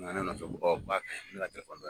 U nana ne kama dɛ